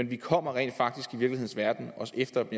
vi kommer rent faktisk også efter dem